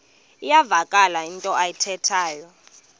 iyavakala into ayithethayo